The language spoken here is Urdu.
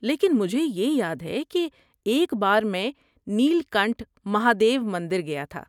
لیکن مجھے یہ یاد ہے کہ ایک بار میں نیل کنٹھ مہادیو مندر گیا تھا۔